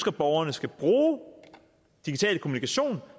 at borgerne skal bruge digital kommunikation